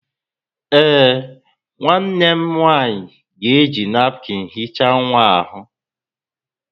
Ee, nwanne m nwanyị ga-eji napụkịn hichaa nwa ahụ.